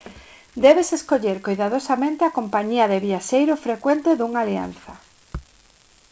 débese escoller coidadosamente a compañía de viaxeiro frecuente dunha alianza